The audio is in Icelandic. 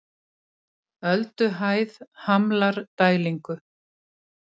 Ölduhæð hamlar dælingu